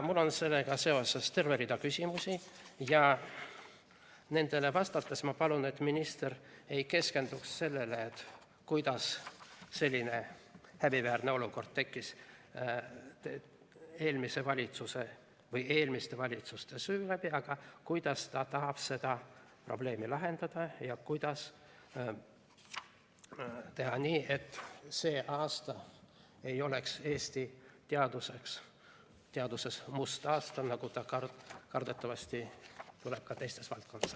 Mul on sellega seoses terve rida küsimusi ja ma palun, et nendele vastates minister ei keskenduks sellele, kuidas selline häbiväärne olukord tekkis eelmiste valitsuste süü läbi, vaid sellele, kuidas ta tahab seda probleemi lahendada ja kuidas teha nii, et see aasta ei oleks Eesti teaduses must aasta, nagu ta kardetavasti tuleb ka teistes valdkondades.